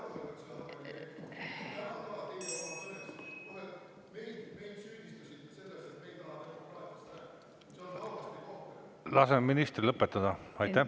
Laseme ministril lõpetada!